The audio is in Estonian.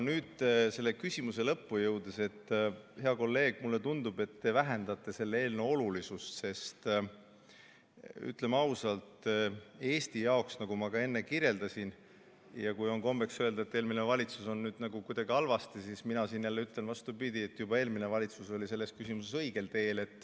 Nüüd selle küsimuse lõppu jõudes, hea kolleeg, mulle tundub, et te vähendate selle eelnõu olulisust, sest ütleme ausalt, kui on kombeks öelda, et eelmine valitsus tegi midagi halvasti, siis mina ütlen vastupidi: juba eelmine valitsus oli selles küsimuses õigel teel.